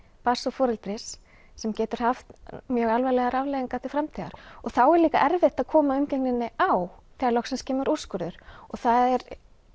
barns og foreldris sem getur haft mjög alvarlegar afleiðingar til framtíðar þá er líka erfitt að koma umgengninni á það loksins kemur úrskurður það er